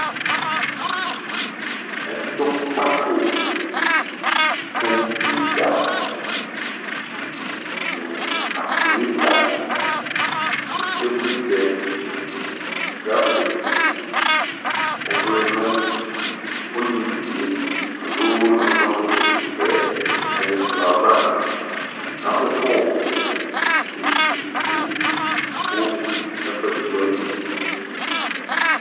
ɛzɔkpako, kompiuta no kakuleta no evlersɛ, grafik ɔvlɛ no olevie alo nazɔ noeodekaɛ aye ɛklɔ avaNe ka mo kɔpu be edigbo kɛ kuɛde do ali